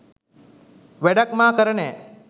වැඩක් මා කර නෑ.